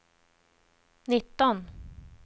nitton